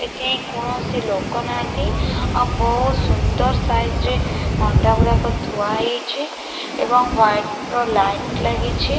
ଏଠି କୌଣସି ଲୋକ ନାହାନ୍ତି ଆଉ ବହୁତ ସୁନ୍ଦର ସାଇଜରେ ଅଣ୍ଟା ହୁଡାକ ଥୁଆ ହେଇଛି ଏଵଂ ହ୍ବାଇଟ ର ଲାଇଟ୍ ଲାଗିଛି।